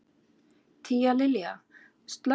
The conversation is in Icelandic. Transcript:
Tíalilja, slökktu á niðurteljaranum.